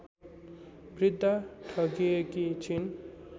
वृद्धा ठगिएकी छिन्